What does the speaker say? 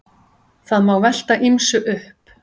Það má velta ýmsu upp.